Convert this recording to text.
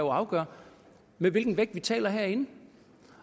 afgør med hvilken vægt vi taler herinde